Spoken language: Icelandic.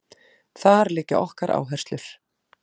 Þar liggja okkar áherslur